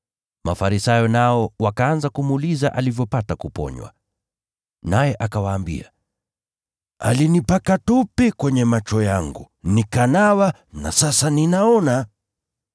Mafarisayo nao wakaanza kumuuliza alivyopata kuponywa. Naye akawaambia, “Alinipaka tope kwenye macho yangu, nikanawa na sasa ninaona.”